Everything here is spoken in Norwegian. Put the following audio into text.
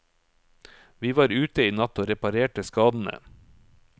Vi var ute i natt og reparerte skadene.